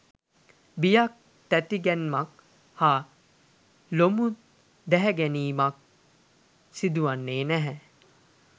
බියක් තැති ගැනීමක් හා ලොමු දැහැගැනීමක් සිදුවන්නේ නැහැ.